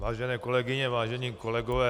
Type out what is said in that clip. Vážené kolegyně, vážení kolegové.